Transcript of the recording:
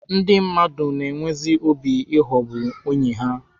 Ndị mmadụ na-enwezi obi ịghọgbu enyi ha.